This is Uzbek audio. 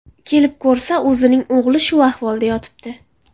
Kelib ko‘rsa, o‘zining o‘g‘li shu ahvolda yotibdi.